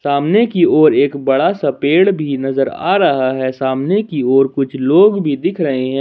सामने की ओर एक बड़ा सा पेड़ भी नजर आ रहा है सामने की ओर कुछ लोग भी दिख रहे हैं।